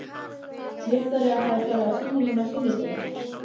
Viktoría hafði farið á sýninguna á sunnudegi.